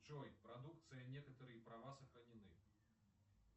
джой продукция некоторые права сохранены